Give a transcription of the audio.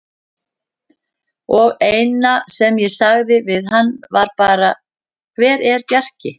Og eina sem ég sagði við hann var bara: Hver er Bjarki?